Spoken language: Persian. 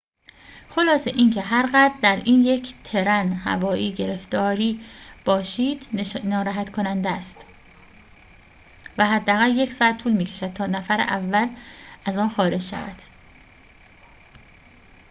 خلاصه اینکه هر قدر در یک ترن هوایی گرفتاری باشید ناراحت کننده است و حداقل یک ساعت طول می‌کشد تا نفر اول از آن خارج شود